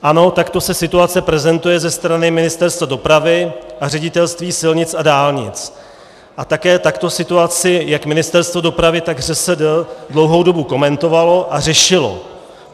Ano, takto se situace prezentuje ze strany Ministerstva dopravy a Ředitelství silnic a dálnic, a také takto situaci jak Ministerstvo dopravy, tak ŘSD dlouhou dobu komentovalo a řešilo.